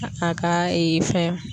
A a ka fɛn